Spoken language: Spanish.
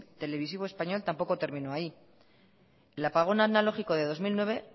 televisivo español tampoco terminó ahí el apagón analógico del dos mil nueve